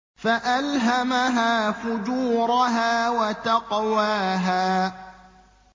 فَأَلْهَمَهَا فُجُورَهَا وَتَقْوَاهَا